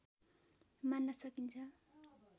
मान्न सकिन्छ